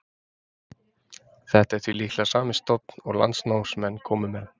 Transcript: Þetta er því líklega sami stofninn og landnámsmenn komu með.